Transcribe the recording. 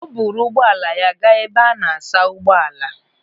O buru ugbo ala ya gaa ebe a na-asa ụgbọala.